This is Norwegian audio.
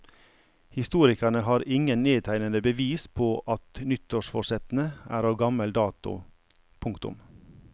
Historikerne har ingen nedtegnede bevis på atnyttårsforsettene er av gammel dato. punktum